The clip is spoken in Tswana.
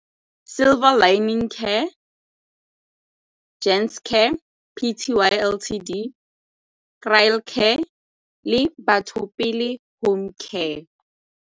Silver Lining Care, Giants Care P_t_y L_t_d, le Batho Pele Home Care.